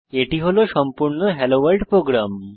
এটি হল সম্পূর্ণ হেলোভোর্ল্ড প্রোগ্রাম